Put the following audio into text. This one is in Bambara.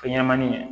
Fɛn ɲɛnɛmanin ye